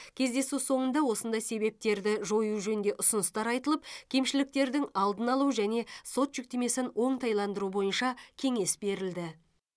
кездесу соңында осындай себептерді жою жөнінде ұсыныстар айтылып кемшіліктердің алдын алу және сот жүктемесін оңтайландыру бойынша кеңес берілді